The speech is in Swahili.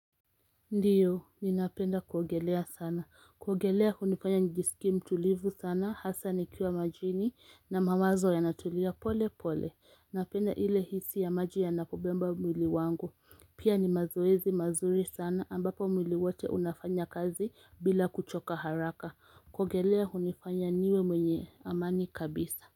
Ndiyo, ninapenda kuogelea sana, kuogelea hunifanya nijisikie mtulivu sana, hasa nikiwa majini na mawazo yanatulia pole pole, napenda ile hisi ya maji yanapobeba mwili wangu, pia ni mazoezi mazuri sana ambapo mwili wote unafanya kazi bila kuchoka haraka, kuogelea hunifanya niwe mwenye amani kabisa.